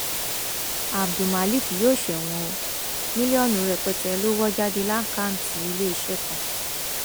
abdulmak yóò ṣẹwọn o mílíọnù rẹpẹtẹ lọ wọ jáde lákàtúntì iléeṣẹ kan